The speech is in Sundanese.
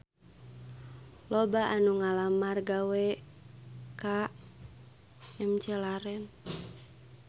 Loba anu ngalamar gawe ka McLaren